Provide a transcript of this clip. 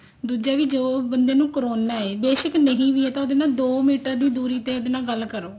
ਦੂਜਾ ਵੀ ਜੋ ਬੰਦੇ ਨੂੰ corona ਹੈ ਬੇਸ਼ਕ ਨਹੀਂ ਵੀ ਆ ਤਾਂ ਉਹਦੇ ਨਾਲ ਦੋ ਮੀਟਰ ਦੀ ਦੂਰੀ ਦੇ ਉਹਦੇ ਨਾਲ ਗੱਲ ਕਰੋ